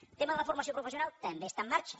el tema de la formació professional també està en marxa